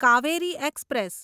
Kaveri express